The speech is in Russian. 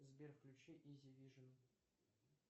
сбер включи изи вижн